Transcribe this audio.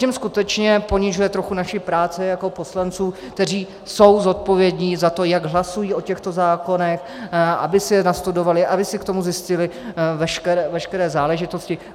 Tím skutečně ponižuje trochu naši práci jako poslanců, kteří jsou zodpovědní za to, jak hlasují o těchto zákonech, aby si je nastudovali, aby si k tomu zjistili veškeré záležitosti.